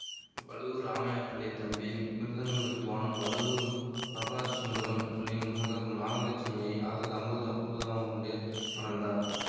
வழுவூர் ராமையா பிள்ளை தம்பி மிருதங்க வித்துவான் வழுவூர் நடராஜசுந்தரம் பிள்ளையின் மகள் நாகலட்சுமியை ஆயிரத்தி தொள்ளாயிரத்தி அம்பத்தி ஒன்பதாம் ஆண்டு மணந்தார்